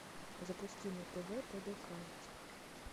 запусти на тв тдк